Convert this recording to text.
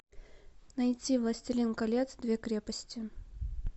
найти властелин колец две крепости